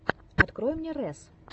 открой мне рэс